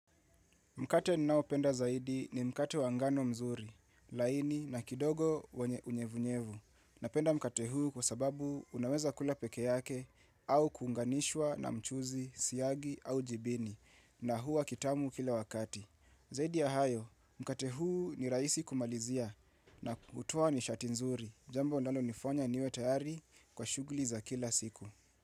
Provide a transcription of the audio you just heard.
Mkate ninaopenda zaidi ni mkate wa ngano mzuri, laini na kidogo wenye unyevunyevu. Napenda mkate huu kwa sababu unaweza kula peke yake au kuunganishwa na mchuzi, siagi au jibini na huwa kitamu kila wakati. Zaidi ya hayo, mkate huu ni rahisi kumalizia na kutoa nishati nzuri. Jambo linalonifonya niwe tayari kwa shuguli za kila siku.